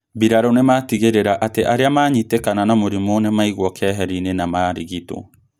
Mbirarũ nĩmatigĩrĩra atĩ arĩa manyitĩkana na mũrimū nĩmaigwo keheri-inĩ na marigitwo